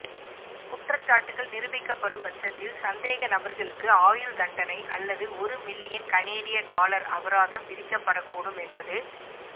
குற்றச்சாட்டுக்கள் நிரூபிக்கப்படும் பட்சத்தில் சந்தேகநபர்களுக்கு ஆயுள் தண்டனை அல்லது ஒரு மில்லியன் கனேடிய டொலர் அபராதம் விதிக்கப்படக் கூடும் என்பது